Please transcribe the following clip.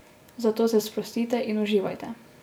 Zato se sprostite in uživajte.